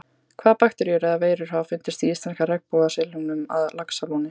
Hvaða bakteríur eða veirur hafa fundist í íslenska regnbogasilungnum að Laxalóni?